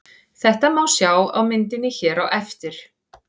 Þetta má sjá á myndinni hér á eftir.